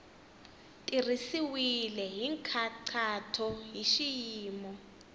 tirhisiwile hi nkhaqato hi xiyimo